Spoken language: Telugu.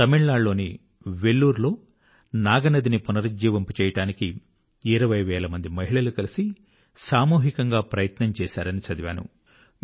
తమిళనాడు లోని వెల్లూరు వెల్లోర్ లో నాగ నది నాగ్ నది ని పునరుజ్జీవింపజేయడానికి 20 వేల మంది మహిళలు కలిసి సామూహికంగా ప్రయత్నం చేశారని చదివాను